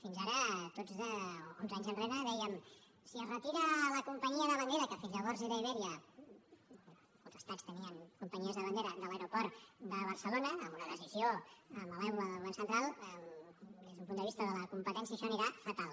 fins ara tots onze anys enrere dèiem si es retira la companyia de bandera que fins llavors era iberia els estats tenien companyies de bandera de l’aeroport de barcelona amb una decisió malèvola del govern central des d’un punt de vista de la competència això anirà fatal